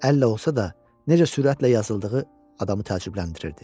Əllə olsa da, necə sürətlə yazıldığı adamı təəccübləndirirdi.